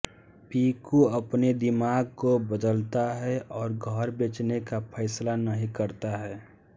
पिकू अपने दिमाग को बदलता है और घर बेचने का फैसला नहीं करता है